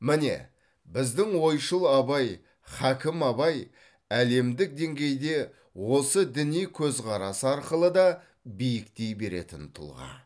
міне біздің ойшыл абай хакім абай әлемдік деңгейде осы діни көзқарасы арқылы да биіктей беретін тұлға